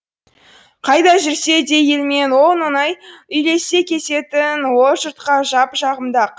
қайда жүрсе де елмен он оңай үйлесе кететін ол жұртқа жағымды ақ